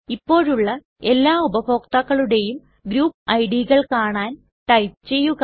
ഇപ്പോഴുള്ള എല്ലാ ഉപഭോക്താക്കളുടേയും ഗ്രൂപ്പ് idകൾ കാണാൻ ടൈപ്പ് ചെയ്യുക